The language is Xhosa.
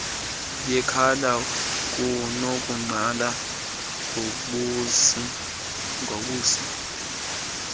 yekhala kunokuqala ngobusi